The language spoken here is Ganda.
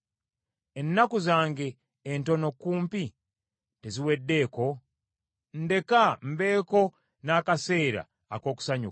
Ennaku zange entono kumpi teziweddeeko? Ndeka mbeeko n’akaseera ak’okusanyuka,